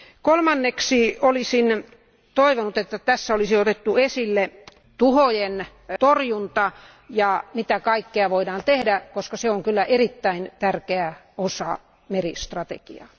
Kolmanneksi olisin toivonut, että tässä olisi otettu esille öljytuhojen torjunta ja mitä kaikkea voidaan tehdä, koska se on kyllä erittäin tärkeä osa meristrategiaa.